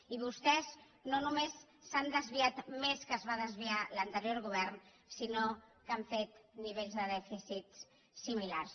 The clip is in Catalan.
i vostès no només s’han desviat més del que es va desviar l’anterior govern sinó que han fet nivells de dèficit similars